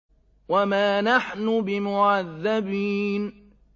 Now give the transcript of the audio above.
وَمَا نَحْنُ بِمُعَذَّبِينَ